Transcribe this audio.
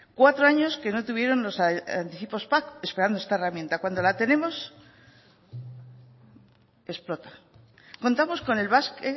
cuatro años que no tuvieron los anticipos pac esperando esta herramienta cuando la tenemos explota contamos con el basque